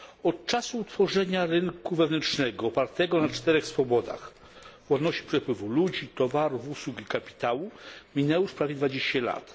Od czasu utworzenia rynku wewnętrznego opartego na czterech swobodach przepływu ludzi, towarów, usług i kapitału minęło już prawie 20 lat.